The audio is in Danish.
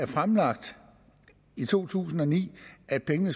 fremlagt i to tusind og ni at pengene